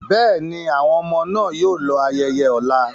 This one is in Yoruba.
Bẹ́ẹ̀ni, àwọn ọmọ náà yóò lọ ayẹyẹ ọ̀la.